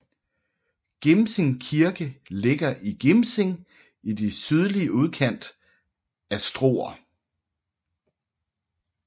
Gimsing Kirke ligger i Gimsing i den sydlige udkant af Struer